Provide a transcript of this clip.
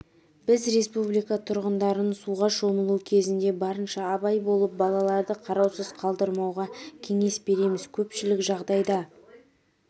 біз республика тұрғындарын суға шомылуы кезінде барынша абай болып балаларды қараусыз қалдырмауға кеңес береміз көпшілік жағдайда